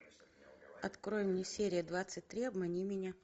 открой мне серия двадцать три обмани меня